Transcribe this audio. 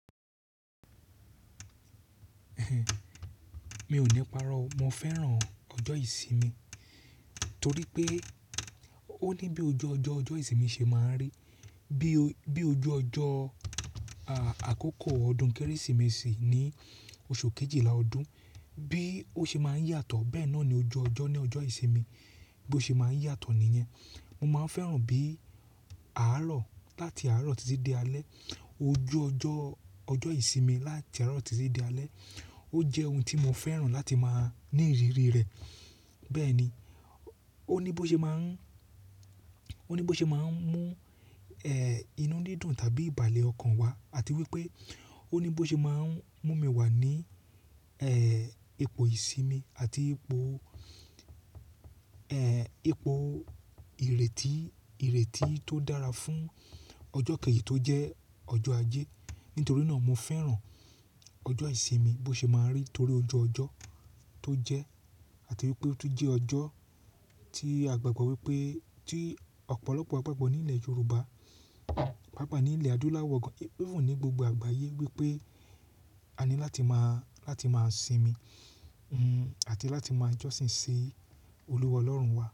Mi ò ní párọ́, mo fẹ́ràn ọjọ́ ìsinmi torí pé ó ní bí ojú ọjọ́, ọjọ́ ìsinmi ṣe máa ń rí. Bí ojú ọjọ́, àkoko ọdún Kérésìmesì ní oṣù kejìlá ọdún, bí ó ṣe máa ń yàtọ̀ bẹ́ẹ̀ náà ni ojú ọjọ́ ní ọjọ́ ìsinmi bí ó ṣe máa ń yàtọ̀ nìyẹn. Mo máa ń fẹ́ràn bí àárọ̀ láti àárọ̀ títí dé alẹ́, ojú ọjọ́, ọjọ́ ìsinmi láti àárọ̀ títí dé alẹ́ ó jẹ́ ohun tí mo fẹ́ràn láti máa ní ìrírí rẹ̀. Bẹ́ẹ̀ni, ó ní bó ṣe máa ń, ó ní bó ṣe máa ń mú, inú dídùn tàbí ìbàlẹ́ ọkàn wá àti wípé ó ní bó ṣe máa ń mú mi wá ní, ẹ, ipò ìsinmi àti ipò, ẹ, ipò ìrètí, ìrètí tó dára fún ọjọ́ kejì tó jẹ́ ọjọ́ ajé. Nítorí náà mo fẹ́ràn ọjọ́ ìsinmi bí ó ṣe máa ń rí torí ojú ọjọ́ tó jẹ́ àti wípé ó tún jẹ́ ọjọ́ tí a gbàgbọ́ wípé, tí ọ̀pọ̀lọpọ̀ a gbàgbọ́ nílẹ̀ Yorùbá, paaoa nílẹ̀ adúláwọ̀ gan, even ní gbogbo àgbáyé wípé a ní láti máa, láti máa sinmi, àti láti máa jọ́sìn sí olúwa Ọlọ́run wa.